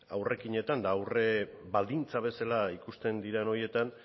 aurrekinetan eta aurrebaldintzak bezala ikuste diren horietan